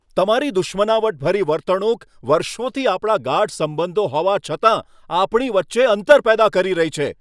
તમારી દુશ્મનાવટભરી વર્તણૂક વર્ષોથી આપણા ગાઢ સંબંધો હોવા છતાં, આપણી વચ્ચે અંતર પેદા કરી રહી છે.